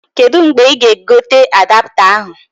Kedu mgbe ị ga-egote adapta ahụ?